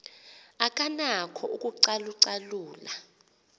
akanako ukucalu calula